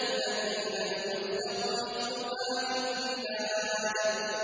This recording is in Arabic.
الَّتِي لَمْ يُخْلَقْ مِثْلُهَا فِي الْبِلَادِ